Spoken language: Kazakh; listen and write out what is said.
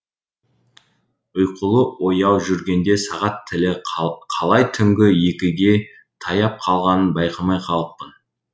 ұйқылы ояу жүргенде сағат тілі қалай түнгі екіге таяп қалғанын байқамай қалыппын